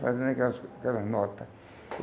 Fazendo aquelas aquelas nota.